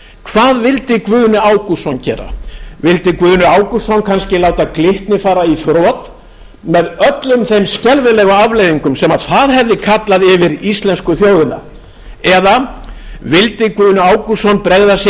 hvað vildi guðni ágústsson gera vildi guðni ágústsson kannski láta glitni fara í þrot með öllum þeim skelfilegu afleiðingum sem það hefði kallað yfir íslensku þjóðina eða vildi guðni ágústsson bregða